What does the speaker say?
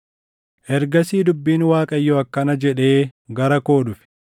Ergasii dubbiin Waaqayyoo akkana jedhee gara koo dhufe: